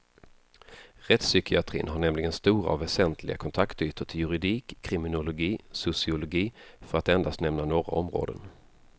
Rättspsykiatrin har nämligen stora och väsentliga kontaktytor till juridik, kriminologi, sociologi för att endast nämna några områden.